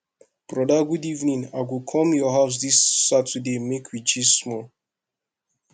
broda good evening i go come your house dis saturday make we gist small